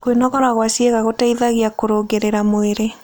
Kũnogora gwa ciĩga gũteĩthagĩa kũrũngĩrĩrĩa mwĩrĩ